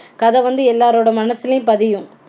கதை வந்து எல்லாரோட மனசிலையும் பதியும்